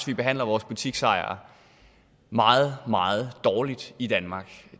vi behandler vores butiksejere meget meget dårligt i danmark